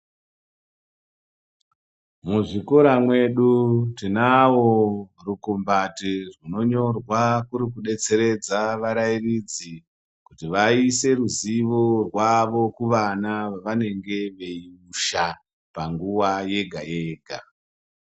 Muzvikora mwedu tinavo rukumbati runonyorwa kuri kudetsere varairidzi kuti vaise ruziwo rwavo kuvana vavanenge veipusha panguwa yega yega.